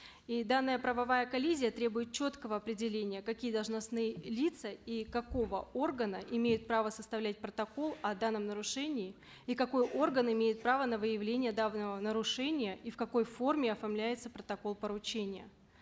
и данная правовая коллизия требует четкого определения какие должностные лица и какого органа имеют право составлять протокол о данном нарушении и какой орган имеет право на выявление данного нарушения и в какой форме оформляется протокол поручения